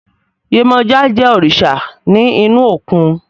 Yemọja je òrìṣà ní inú òkun